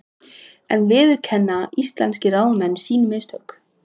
En viðurkenna íslenskir ráðamenn sín mistök?